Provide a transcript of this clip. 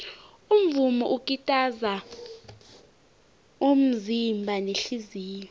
umvumo ukitaza umzimba nehliziyo